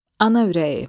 Ana ürəyi.